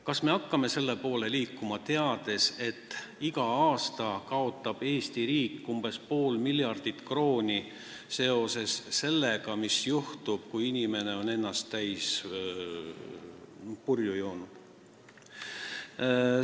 Kas me hakkame selle poole liikuma, teades, et igal aastal kaotab Eesti riik pool miljardit krooni seetõttu, et juhtub palju halba, kui inimesed on ennast purju joonud?